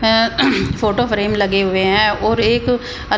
ऐं photo frame लगे हुए हैं और एक अल --